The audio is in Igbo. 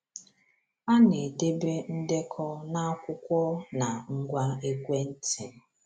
A na-edebe ndekọ na akwụkwọ na ngwa ekwentị.